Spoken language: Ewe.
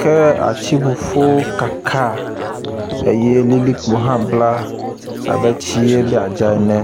ke atsiƒuƒuwo kaka eye lilikpo hã bla abe tsie be yad za ene.